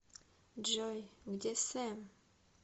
джой где сэм